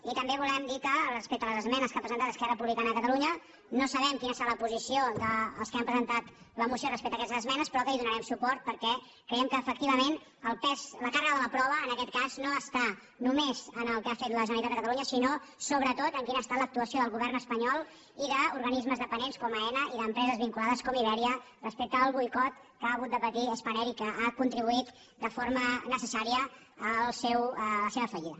i també volem dir que respecte a les esmenes que ha presentat esquerra republicana de catalunya no sabem quina serà la posició dels que han presentat la moció respecte a aquestes esmenes però que hi donarem suport perquè creiem que efectivament el pes la càrrega de la prova en aquest cas no està només en el que ha fet la generalitat de catalunya sinó sobretot en quina ha estat l’actuació del govern espanyol i d’organismes dependents com aena i d’empreses vinculades com iberia respecte al boicot que ha hagut de patir spanair i que ha contribuït de forma necessària a la seva fallida